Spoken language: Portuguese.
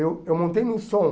Eu eu montei no som.